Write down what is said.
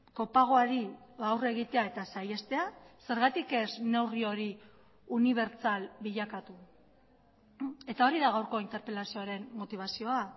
kopagoari aurre egitea eta saihestea zergatik ez neurri hori unibertsal bilakatu eta hori da gaurko interpelazioaren motibazioa